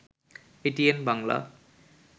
ATN Bangla